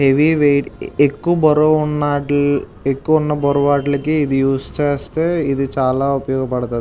Heavy weight ఎక్కువ బరువు ఉన్నట్లై ఎక్కువ ఉన్న బరువు వాటిలకి ఇది యూస్ చేస్తే ఇది చాలా ఉపయోగపడతది.